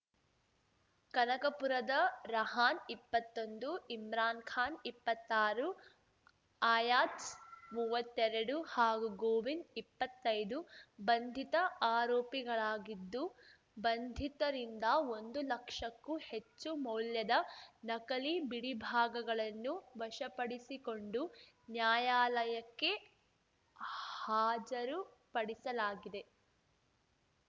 ಕನಕಪುರದ ರಹಾನ್ ಇಪ್ಪತ್ತೊಂದು ಇಮ್ರಾನ್ ಖಾನ್ ಇಪ್ಪತ್ತಾರು ಅಯಾಜ್ ಮೂವತ್ತೆರಡು ಹಾಗೂ ಗೋವಿಂದ್ ಇಪ್ಪತ್ತೈದು ಬಂಧಿತ ಆರೋಪಿಗಳಾಗಿದ್ದು ಬಂಧಿತರಿಂದ ಒಂದು ಲಕ್ಷಕ್ಕೂ ಹೆಚ್ಚು ಮೌಲ್ಯದ ನಕಲಿ ಬಿಡಿಭಾಗಗಳನ್ನು ವಶಪಡಿಸಿಕೊಂಡು ನ್ಯಾಯಾಲಯಕ್ಕೆ ಹಾಜರುಪಡಿಸಲಾಗಿದೆ